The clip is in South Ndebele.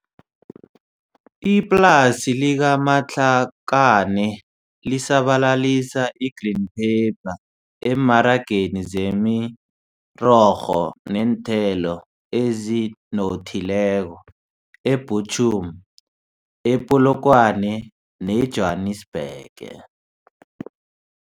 Iplasi lika-Matlakaneli sabalalisa i-green pepper emmarageni zemirorho neenthelo ezinothileko e-Buchum, e-Polokwane ne-Jwanisbhege.